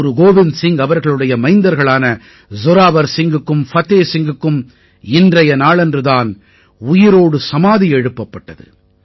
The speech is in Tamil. குரு கோவிந்த் சிங் அவர்களுடைய மைந்தர்களான ஜோராவர் சிங்குக்கும் ஃபதே சிங்குக்கும் இன்றைய நாளன்று தான் உயிரோடு சமாதி எழுப்பப்பட்டது